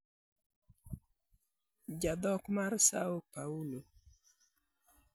Jandhok mar Săo Paulo.